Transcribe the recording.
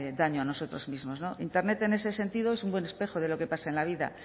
daño a nosotros mismos internet en ese sentido es un buen espejo de lo que pasa en la vida